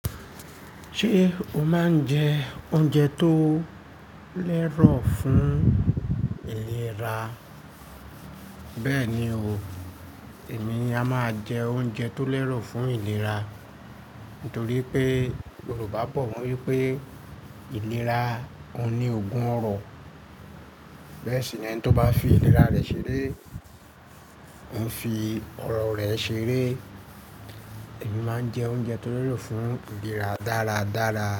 Ṣé o máa ń jẹ oúnjẹ tó lẹ́rọ̀ fún ìlera? Bẹ́ẹ̀ni o, èmi a máa jẹ oúnjẹ tó lẹ́rọ̀ fún ìlera. Nítorí pé Yorùbá bọ̀ won wípé ìlera òun ní ogún ọrọ̀. Bẹ́ẹ̀ sì ni ẹni tó bá fi ìlera rẹ̀ ṣeré ń fi ọrọ̀ rẹ̀ ṣeré. Èmi máa ń jẹ oúnjẹ tó lẹ́rọ̀ fún ìlera dáradára.